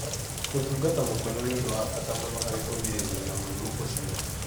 Kũtungata mũkonyo nĩ ũndũ wa bata mũno harĩ kũgirĩrĩria mũrimũ ũcio.